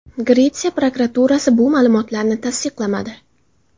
Gretsiya prokuraturasi bu ma’lumotlarni tasdiqlamadi.